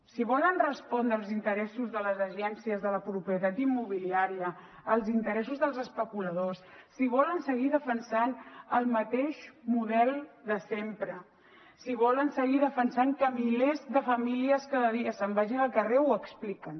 si volen respondre als interessos de les agències de la propietat immobiliària als interessos dels especuladors si volen seguir defensant el mateix model de sempre si volen seguir defensant que milers de famílies cada dia se’n vagin al carrer ho expliquen